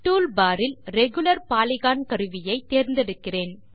toolbar இல் regular polygon கருவியை தேர்ந்தெடுக்கிறேன்